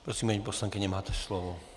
Prosím, paní poslankyně, máte slovo.